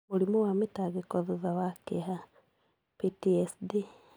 Mũrimũ wa mĩtangĩko thutha wa kĩeha (PTSD);